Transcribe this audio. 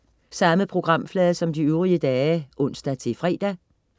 Samme programflade som de øvrige dage (ons-fre)